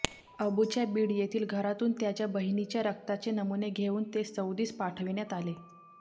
अबूच्या बीड येथील घरातून त्याच्या बहिणीच्या रक्ताचे नमुने घेऊन ते सौदीस पाठविण्यात आले